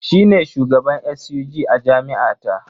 Shi ne shugaban SUG a jami’a ta.